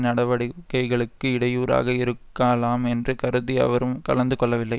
நடவடிக்கைகளுக்கு இடையூறாக இருக்காலாம் என்று கருதி அவரும் கலந்துகொள்ளவில்லை